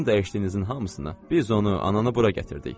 Sizin dəyişdiyinizin hamısını biz onu ananı bura gətirdik.